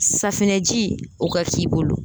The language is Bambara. Safinɛji o ka k'i bolo